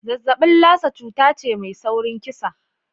Zazzaɓin Lassa cuta ce mai saurin kisa.